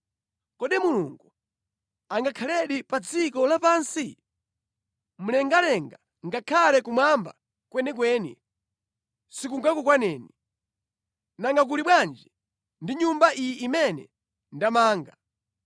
“Kodi Mulungu angakhaledi pa dziko lapansi? Mlengalenga ngakhale kumwamba kwenikweni, sikungakukwaneni. Nanga kuli bwanji ndi Nyumba iyi imene ndamanga!